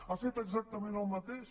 ha fet exactament el mateix